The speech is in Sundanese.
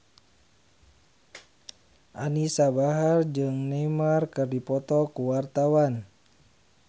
Anisa Bahar jeung Neymar keur dipoto ku wartawan